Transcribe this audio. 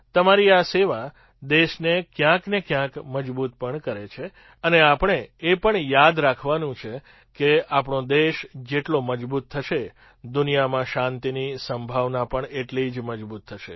તમારી આ સેવા દેશને ક્યાંક ને ક્યાક મજબૂત પણ કરે છે અને આપણે એ પણ યાદ રાખવાનું છે કે આપણો દેશ જેટલો મજબૂત થશે દુનિયામાં શાંતિની સંભાવના પણ એટલી જ મજબૂત થશે